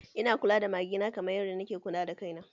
Ina kula da mage na kamar yadda na ke kula da kaina